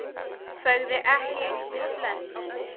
Sagði ekki einu sinni bless.